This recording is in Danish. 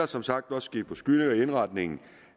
som sagt også ske forskydninger i indretningen